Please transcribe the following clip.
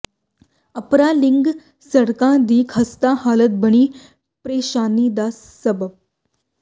Apra link ਸੜਕਾਂ ਦੀ ਖਸਤਾ ਹਾਲਤ ਬਣੀ ਪ੍ਰੇਸ਼ਾਨੀ ਦਾ ਸਬੱਬ